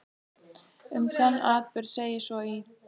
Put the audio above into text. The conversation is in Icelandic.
Um þann atburð segir svo í